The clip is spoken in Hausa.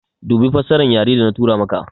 Dubi fassaran yare da na tura maka